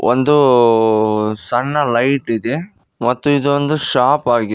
ಒಂದು ಸಣ್ಣ ಲೈಟ್ ಇದೆ ಮತ್ತು ಇದೊಂದು ಶಾಪ್ ಆಗಿದೆ.